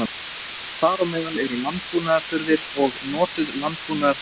Þar á meðal eru landbúnaðarafurðir og notuð landbúnaðartæki.